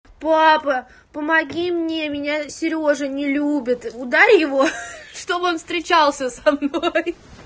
папа помоги мне меня серёжа не любит ударь его чтобы он встречался со мной